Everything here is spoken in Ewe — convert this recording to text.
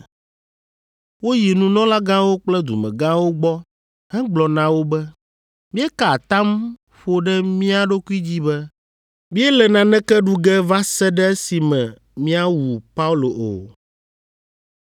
Woyi nunɔlagãwo kple dumegãwo gbɔ hegblɔ na wo be, “Míeka atam ƒo ɖe mía ɖokui dzi be míele naneke ɖu ge va se ɖe esime míawu Paulo o.